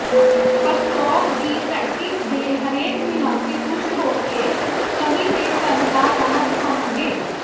Pskov ਦੀ ਧਰਤੀ ਦੇ ਹਰੇਕ ਨਿਵਾਸੀ ਖੁਸ਼ ਹੋ ਕੇ ਕਵੀ ਦੇ ਘਰ ਦਾ ਰਾਹ ਦਿਖਾਉਣਗੇ